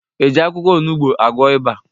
Ejị akwụkwọ onugbu agwọ ịba?